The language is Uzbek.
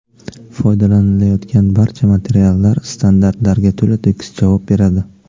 Foydalanilayotgan barcha materiallar standartlarga to‘la-to‘kis javob beradi.